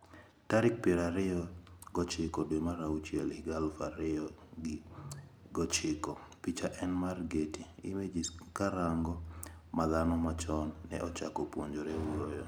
Tarik pier ariyo gi ochiko dwe mar auchiel higa aluf ariyo gi apar gi ochiko Picha en mar Getty Images Karang'o ma dhano machon ne ochako puonjore wuoyo?